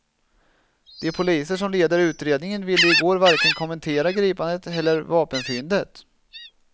De poliser som leder utredningen ville i går varken kommentera gripandet eller vapenfyndet.